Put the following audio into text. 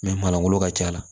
manlankolon ka ca a la